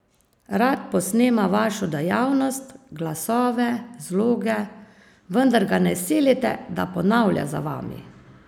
Rad posnema vašo dejavnost, glasove, zloge, vendar ga ne silite, da ponavlja za vami.